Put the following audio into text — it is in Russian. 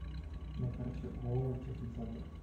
на карте ооо техноцентр